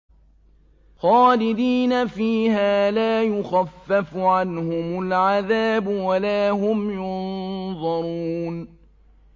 خَالِدِينَ فِيهَا لَا يُخَفَّفُ عَنْهُمُ الْعَذَابُ وَلَا هُمْ يُنظَرُونَ